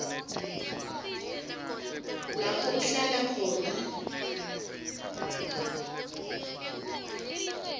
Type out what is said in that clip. lapho uhlala khona